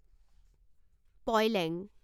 পয় লেং